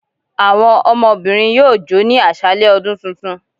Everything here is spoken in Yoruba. Awọn ọmọbirin yọọ jò ni aṣalẹ ọdún túntún